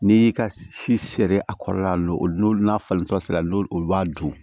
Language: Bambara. N'i y'i ka si seri a kɔrɔla la lolo n'a falentɔ sira n'o olu b'a dun